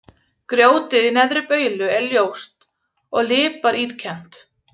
Grjótið í Neðri-Baulu er ljóst og líparítkennt.